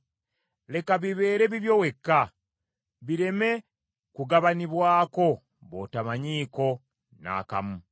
Leka bibeere bibyo wekka, bireme kugabanibwako b’otomanyiiko n’akamu.